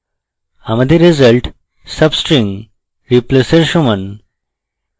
আমাদের result substring replace our সমান